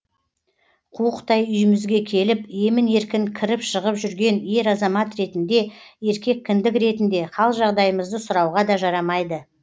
қуықтай үйімізге келіп емін еркін кіріп шығып жүрген ер азамат ретінде еркек кіндік ретінде хал жағдайымызды сұрауға да жарамайды